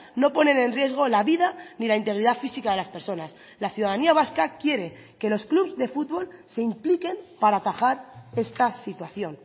no ponen en riesgo la vida ni la integridad física de las personas la ciudadanía vasca quiere que los clubs de fútbol se impliquen para atajar esta situación